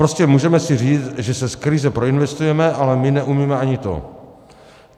Prostě můžeme si říct, že se z krize proinvestujeme, ale my neumíme ani to.